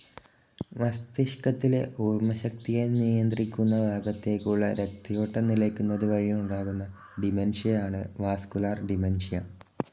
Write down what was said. മസ്തിഷ്കത്തിലെ ഓർമ്മശക്തിയെ നിയന്ത്രിക്കുന്ന ഭാഗത്തേക്കുള്ള രക്തയോട്ടം നിലക്കുന്നതു വഴി ഉണ്ടാകുന്ന ഡിമെൻഷ്യയാണ് വാസ്കുലർ ഡിമെൻ‌ഷ്യ.